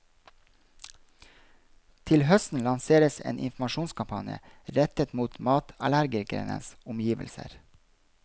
Til høsten lanseres en informasjonskampanje rettet mot matallergikernes omgivelser.